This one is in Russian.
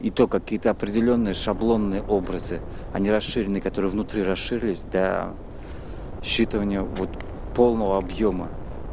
это какие-то определённые шаблоны образы они расширенный которые внутри расширились до считывания вот полного объёма